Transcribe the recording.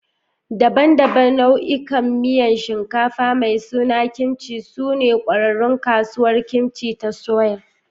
Daban-daban nau'ikan miyan shinkafa mai suna kimchi sune ƙwararrun Kasuwar Kimchi ta Seoul.